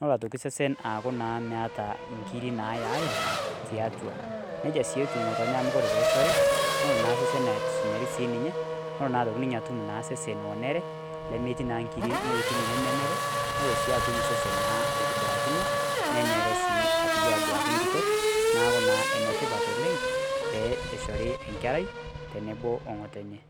nelo atoki sesen aaku meeta nkiri nayaaya tiatua. Nejaa sii etiu ng'otonye amu kore peeshori, nelo naa sesen aitusunyari sininye nelo naa aitoki ninye atum sesen onere lemetii naa nkiri woitin nemenere, nelo naa atum sesen naa oitibirakino, nenere sii atiu aduake nkitok. Naaku naa enetipat oleng' pee eshori nkerai tenebo o ng'otonye.